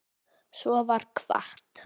Svo var kvatt.